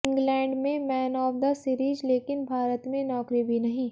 England में man of the series लेकिन भारत में नौकरी भी नहीं